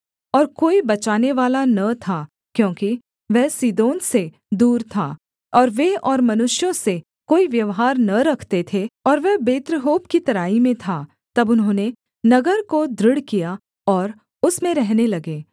और कोई बचानेवाला न था क्योंकि वह सीदोन से दूर था और वे और मनुष्यों से कोई व्यवहार न रखते थे और वह बेत्रहोब की तराई में था तब उन्होंने नगर को दृढ़ किया और उसमें रहने लगे